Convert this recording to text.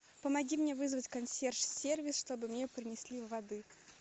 помоги мне вызвать консьерж сервис чтобы мне принесли воды